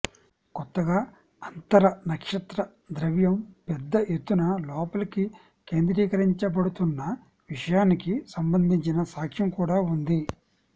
కొత్తగా అంతర నక్షత్ర ద్రవ్యం పెద్ద ఎత్తున లోపలికి కేంద్రీకరించబడుతున్న విషయానికి సంబందించిన సాక్షం కూడా వుంది